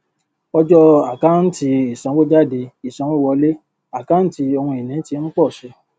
ọjọ àkántì isanwójádé ìsanwówọléjẹ àkáǹtí ohun ìní tí ń pọ sí